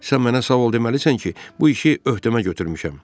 Sən mənə sağ ol deməlisən ki, bu işi öhdəmə götürmüşəm.